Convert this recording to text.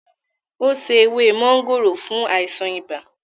Ó se ewé máńgòrò fún àìsàn ibà rẹ̀